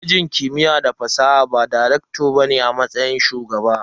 Kwalejin kimiyya da fasaha ba da "Recto" ne a matsayin Shugaba.